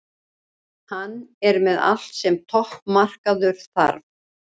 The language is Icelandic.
Hann er með allt sem topp markmaður þarf.